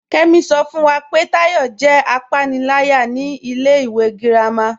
Kẹ́mí ṣọ́ fún wá pé Táyọ̀ jẹ́ àpánìlàyà ní ilẹ̀ ìwé gírámà.